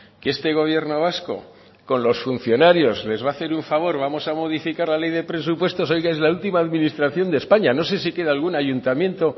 que este gobierno vasco con los funcionarios les va a hacer un favor vamos a modificar la ley de presupuestos oiga es la última administración de españa no sé si queda algún ayuntamiento